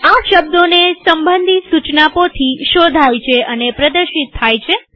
આ શબ્દોને સંબંધી સુચના પોથી શોધાય છે અને પ્રદર્શિત થાય છે